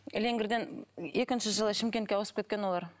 леңгірден екінші жылы шымкентке ауысып кеткен олар